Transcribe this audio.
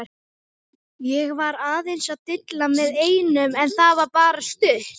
Ég var aðeins að dilla með einum en það var bara stutt.